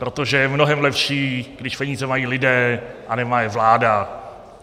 Protože je mnohem lepší, když peníze mají lidé a nemá je vláda.